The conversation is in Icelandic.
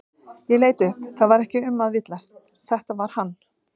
Ég leit upp það var ekki um að villast, þetta var hann.